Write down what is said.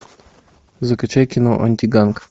закачай кино антиганг